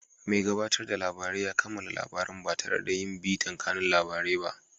Mai gabatarda labarai ya kammala labaran ba tare yin bitan kanun labarai ba.